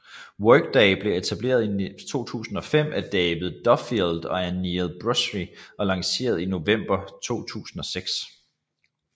Workday blev etableret i 2005 af David Duffield og Aneel Bhusri og lanceret i november 2006